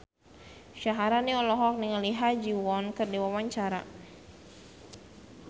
Syaharani olohok ningali Ha Ji Won keur diwawancara